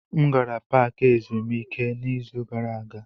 M gara paaki ezumike n'izu gara aga.